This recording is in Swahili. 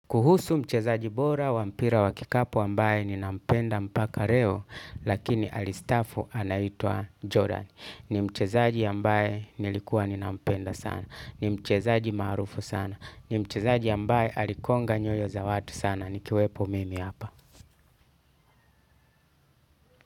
Kuhusu mchezaji bora, wa mpira wa kikapu ambaye ninampenda mpaka reo, lakini alistaafu anaitwa Jordan. Ni mchezaji ambaye nilikuwa ninampenda sana. Ni mchezaji maarufu sana. Ni mchezaji ambaye alikonga nyoyo za watu sana. Nikiwepo mimi hapa.